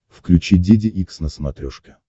включи деде икс на смотрешке